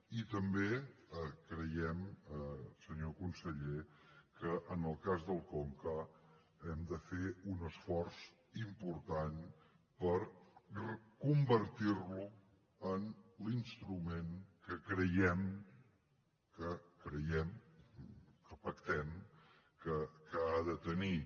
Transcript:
i també creiem senyor conseller que en el cas del conca hem de fer un esforç important per convertir lo en l’instrument que creiem que creiem que pactem que ha de tenir